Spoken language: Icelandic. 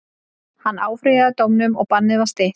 Hann áfrýjaði dómnum og bannið var stytt.